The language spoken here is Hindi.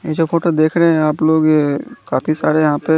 ये जो फोटो देख रहे है आप लोग अ काफी सारे यहा पे--